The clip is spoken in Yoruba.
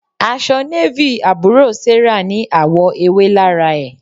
Aṣọ Navy àbúrò Sarah ní àwọ̀ ewé lára ẹ̀.